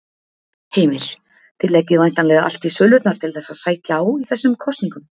Heimir: Þið leggið væntanlega allt í sölurnar til þess að sækja á í þessum kosningum?